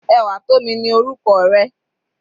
Ewatomi ni orúkọ rẹ̀.